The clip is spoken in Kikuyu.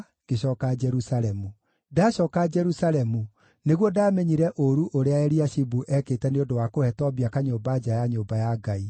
ngĩcooka Jerusalemu. Ndacooka Jerusalemu nĩguo ndaamenyire ũũru ũrĩa Eliashibu eekĩte nĩ ũndũ wa kũhe Tobia kanyũmba nja ya nyũmba ya Ngai.